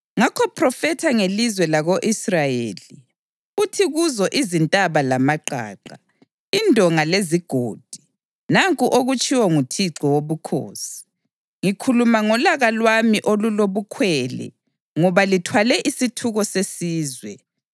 Ngakho phrofetha ngelizwe lako-Israyeli uthi kuzo izintaba lamaqaqa, indonga lezigodi: Nanku okutshiwo nguThixo Wobukhosi: Ngikhuluma ngolaka lwami olulobukhwele ngoba lithwale isithuko sesizwe.